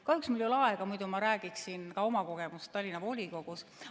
Kahjuks mul ei ole aega, muidu ma räägiksin ka oma kogemusest Tallinna volikogus.